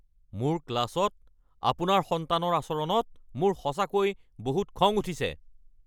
মোৰ ক্লাছত আপোনাৰ সন্তানৰ আচৰণত মোৰ সঁচাকৈ বহুত খং উঠিছে!